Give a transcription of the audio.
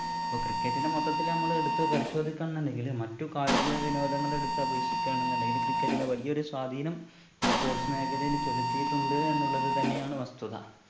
അപ്പൊ cricket നെ മൊത്തത്തില്‍ നമ്മളെടുത്ത് പരിശോധിക്ക എന്നുണ്ടെങ്കില് മറ്റു കായിക വിനോദങ്ങളെടുത്ത് അപേക്ഷിക്ക എന്നുണ്ടെങ്കില് cricket ന് വലിയ ഒരു സ്വാധീനം ഈ sports മേഖലയില് ചെലുത്തീട്ടുണ്ട് എന്നുള്ളത് തന്നെയാണ് വസ്തുത